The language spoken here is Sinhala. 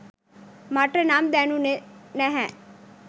මට නම් දැනුනේ නැහැ.